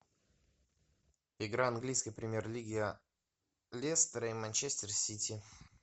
игра английской премьер лиги лестера и манчестер сити